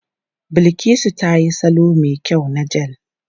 Bilkisu ta yi salo mai kyau na jel.